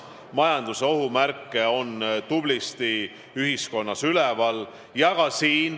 Majanduse ohumärke on ühiskonnas tublisti üleval.